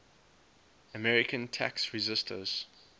american tax resisters